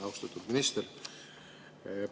Austatud minister!